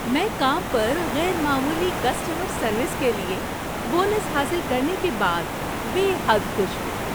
میں کام پر غیر معمولی کسٹمر سروس کے لیے بونس حاصل کرنے کے بعد بے حد خوش ہوں۔